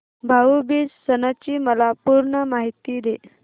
भाऊ बीज सणाची मला पूर्ण माहिती दे